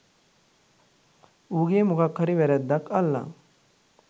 උගෙ මොකක් හරි වැරැද්දක් අල්ලං